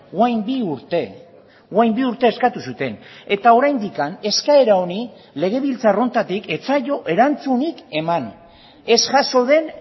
orain bi urte orain bi urte eskatu zuten eta oraindik eskaera honi legebiltzar honetatik ez zaio erantzunik eman ez jaso den